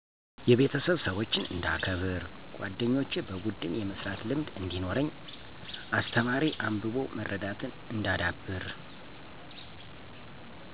የቤተሰብ -ሠወችን እንዳከበር ጓደኞቼ -በቡድን የመስራት ልምድ እዲኖረኝ አስተማሪ-አንብቦ መረዳትን እንዳዳብር